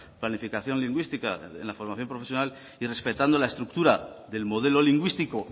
planificación lingüística en la formación profesional y respetando la estructura del modelo lingüístico